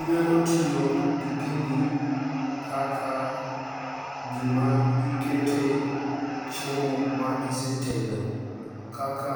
Inyalo tiyo gi gini kaka gima ikete chiemo ma isetedo kaka